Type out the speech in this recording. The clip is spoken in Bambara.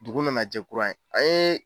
Dugu nana jɛ kura ye a yee